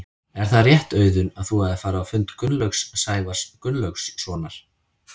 Er það rétt Auðun að þú hafir farið á fund Gunnlaugs Sævars Gunnlaugssonar?